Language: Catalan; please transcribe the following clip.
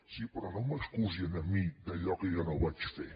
sí però no m’acusi a mi d’allò que jo no vaig fer